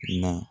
Na